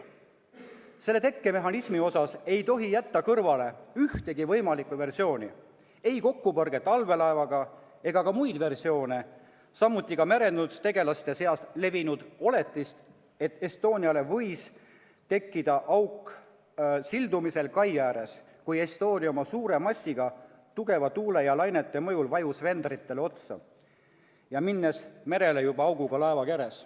Selle tekkemehhanismi puhul ei tohi jätta kõrvale ühtegi võimalikku versiooni: ei kokkupõrget allveelaevaga ega ka muid versioone, samuti ka merendustegelaste seas levinud oletust, et Estoniasse võis auk tekkida sildumisel kai ääres, kui laev oma suure massiga vajus tugeva tuule ja lainete mõjul vendritele otsa ja läks seejärel merele juba auguga laevakeres.